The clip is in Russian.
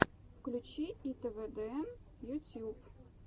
включи итвдн ютьюб